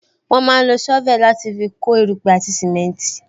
Wọn máa ń lo sovel láti fi kó erupe àti simenti